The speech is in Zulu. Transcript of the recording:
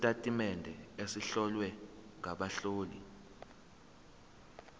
sezitatimende ezihlowe ngabahloli